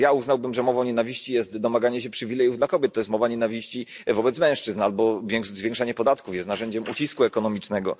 Na przykład ja uznałbym, że mową nienawiści jest domaganie się przywilejów dla kobiet to jest mowa nienawiści wobec mężczyzn albo zwiększanie podatków jest narzędziem ucisku ekonomicznego.